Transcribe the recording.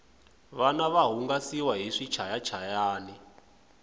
vana va hungasiwa hi swichayachayani